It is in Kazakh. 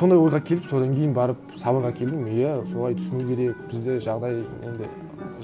сондай ойға келіп содан кейін барып сабырға келдім иә солай түсіну керек бізде жағдай енді